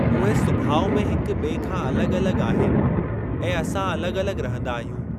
उहे सुभाउ में हिक ॿिए खां अलॻि अलॻि आहिनि ऐं असां अलॻि अलॻि रहंदा आहियूं।